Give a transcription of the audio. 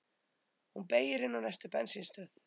Hún beygir inn á næstu bensínstöð.